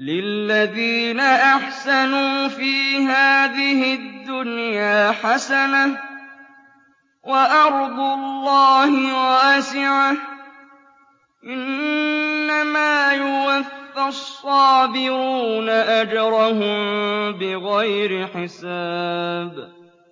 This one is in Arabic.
لِلَّذِينَ أَحْسَنُوا فِي هَٰذِهِ الدُّنْيَا حَسَنَةٌ ۗ وَأَرْضُ اللَّهِ وَاسِعَةٌ ۗ إِنَّمَا يُوَفَّى الصَّابِرُونَ أَجْرَهُم بِغَيْرِ حِسَابٍ